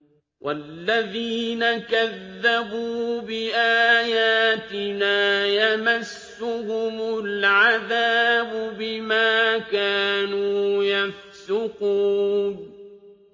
وَالَّذِينَ كَذَّبُوا بِآيَاتِنَا يَمَسُّهُمُ الْعَذَابُ بِمَا كَانُوا يَفْسُقُونَ